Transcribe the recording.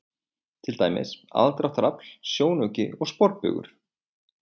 Til dæmis: aðdráttarafl, sjónauki og sporbaugur.